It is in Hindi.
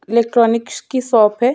इलेक्ट्रॉनिक्स की शॉप है।